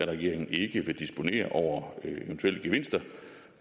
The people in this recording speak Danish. regeringen ikke vil disponere over eventuelle gevinster